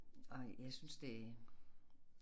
Og jeg synes det